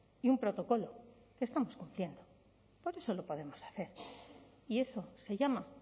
y un protocolo que estamos cumpliendo por eso lo podemos hacer y eso se llama